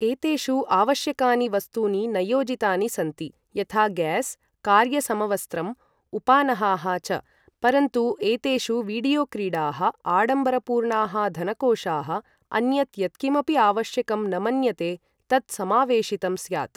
एतेषु आवश्यकानि वस्तूनि न योजितानि सन्ति, यथा गैस्, कार्य समवस्त्रम्, उपानहाः च, परन्तु एतेषु, वीडियोक्रीडाः, आडम्बरपूर्णाः धनकोशाः, अन्यत् यत्किमपि आवश्यकं न मन्यते तत् समावेशितं स्यात्।